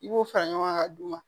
I b'o fara ɲɔgɔn kan ka d'u ma